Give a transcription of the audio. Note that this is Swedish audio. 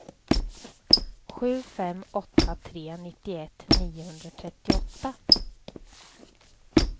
sju fem åtta tre nittioett niohundratrettioåtta